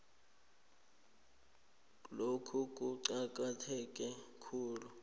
lokhu kuqakatheke khulu